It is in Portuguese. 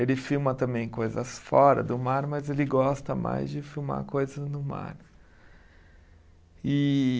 Ele filma também coisas fora do mar, mas ele gosta mais de filmar coisas no mar. E